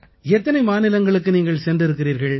எத்தனை மாநிலங்களுக்கு நீங்கள் சென்றிருக்கிறீர்கள்